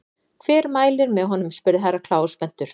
Hver mælir með honum spurði Herra Kláus spenntur.